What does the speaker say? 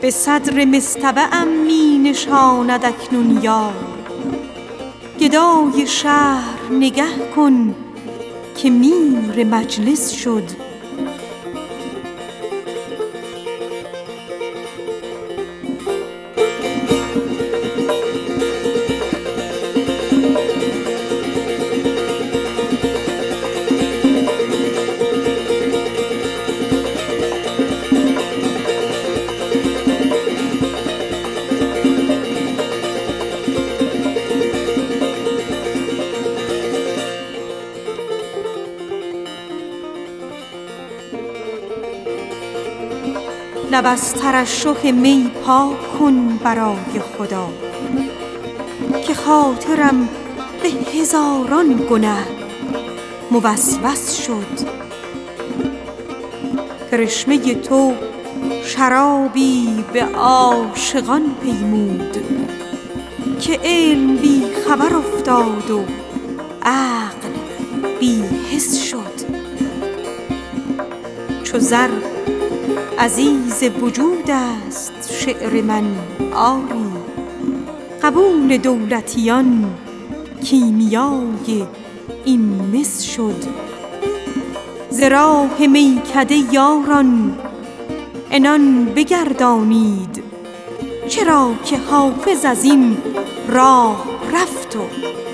به صدر مصطبه ام می نشاند اکنون دوست گدای شهر نگه کن که میر مجلس شد خیال آب خضر بست و جام اسکندر به جرعه نوشی سلطان ابوالفوارس شد طرب سرای محبت کنون شود معمور که طاق ابروی یار منش مهندس شد لب از ترشح می پاک کن برای خدا که خاطرم به هزاران گنه موسوس شد کرشمه تو شرابی به عاشقان پیمود که علم بی خبر افتاد و عقل بی حس شد چو زر عزیز وجود است نظم من آری قبول دولتیان کیمیای این مس شد ز راه میکده یاران عنان بگردانید چرا که حافظ از این راه رفت و مفلس شد